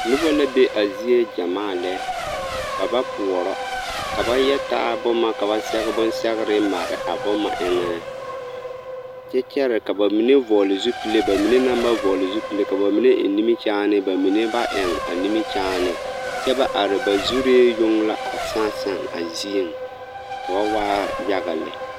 Nobɔ la be a zie gyɛmaa lɛ, ba ba poɔrɔ, ka ba yɛ taa boma ka ba sɛge bonɛgere mare a boma eŋɛ kyɛ kyɛre ka bamine vɔgele zupile bamine meŋ ba vɔgele zupile, ka bamine eŋ nimikyaane bamine ba eŋ a nimikyaane kyɛ ba are ba zuree yoŋ la a sãã sãã a zieŋ ka ba waa yaga lɛ.